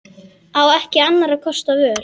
Á ekki annarra kosta völ.